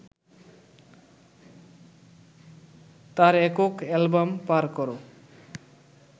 তার একক অ্যালবাম পার করো